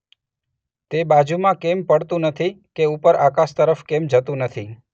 તે બાજુમાં કેમ પડતું નથી કે ઉપર આકાશ તરફ કેમ જતું નથી